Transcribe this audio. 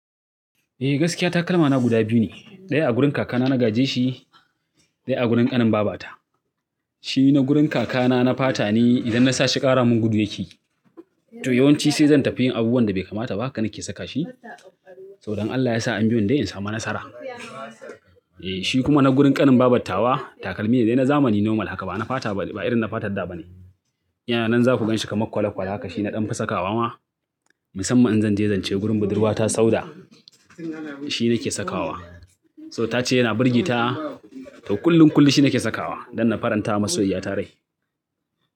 Eh gaskiya takalmana guda biyu ne. Ɗaya a gurin kakana na gaje shi, ɗaya a gurin ƙanin babata. Shi na gurin kakana na fata ne idan na sashi ƙara mun gudu yake. To yawanci sai zan tafi yin abubuwan da bai kamata ba, haka nake saka shi. To Dan Allah ya sa an biyo ni dan in samu nasara. Eh shi kuma na gurin ƙanin babattawa takalmi ne dai na zamani normal haka ba na fata ba, ba irin na fatar da ba ne. Yana nan za ku ganshi kamar kwale kwale haka shi na ɗan fi sa kawa ma. Musamman in zan je zance gurin budurwata Sauda shi nake sakawa. So ta ce yana birge ta, to kullum kullum shi nake sakawa don na faranta masoyayya ta rai.